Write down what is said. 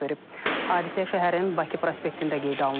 Hadisə şəhərin Bakı prospektində qeydə alınıb.